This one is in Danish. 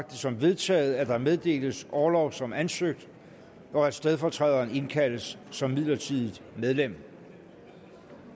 det som vedtaget at der meddeles orlov som ansøgt og at stedfortræderen indkaldes som midlertidigt medlem